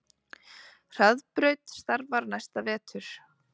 Hraðbraut starfar næsta vetur